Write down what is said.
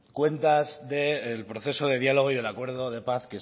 cuentas del proceso de diálogo y del acuerdo de paz